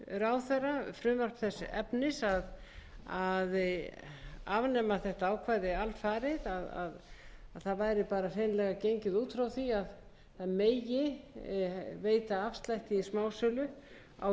hæstvirtur ráðherra frumvarp þess efnis að afnema þetta ákvæði alfarið að það væri hreinlega gengið út frá því að veita megi afslátt